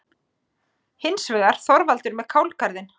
Hins vegar: Þorvaldur með kálgarðinn.